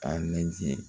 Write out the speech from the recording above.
A lajɛ